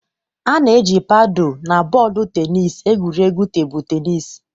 A na-eji paadu na bọọlụ tenis egwuri egwu tebụl tenis.